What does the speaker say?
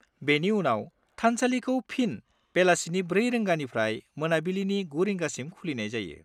बेनि उनाव, थानसालिखौ फिन बेलासिनि 4 रिंगानिफ्राय मोनाबिलिनि 9 रिंगासिम खुलिनाय जायो।